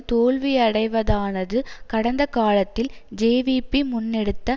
தோல்வியடைவதானது கடந்த காலத்தில் ஜேவிபி முன்னெடுத்த